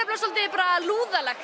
bara svolítið